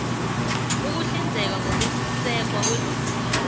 ukuhlinzeka ngokwesekwa kwezokuphatha